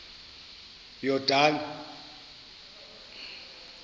yordane